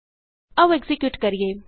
ਆਉ ਐਕਜ਼ੀਕਿਯੂਟ ਕਰੀਏ